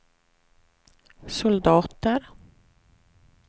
soldater